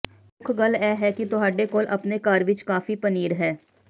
ਮੁੱਖ ਗੱਲ ਇਹ ਹੈ ਕਿ ਤੁਹਾਡੇ ਕੋਲ ਆਪਣੇ ਘਰ ਵਿੱਚ ਕਾਫੀ ਪਨੀਰ ਹੈ